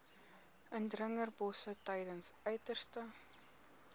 indringerbosse tydens uiterste